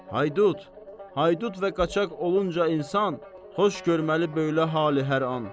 Haydut, Haydut və qaçaq olunca insan xoş görməli belə halı hər an.